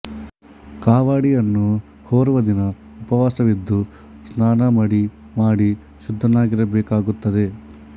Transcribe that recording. ಕಾವಡಿಯನ್ನು ಹೊರುವ ದಿನ ಉಪವಾಸವಿದ್ದು ಸ್ನಾನ ಮಡಿ ಮಾಡಿ ಶುದ್ದನಾಗಿರಬೇಕಾಗುತ್ತದೆ